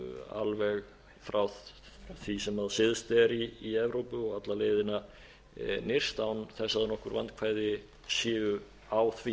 alveg frá því sem syðst er í evrópu og alla leiðina nyrst án þess að nokkur vandkvæði séu á því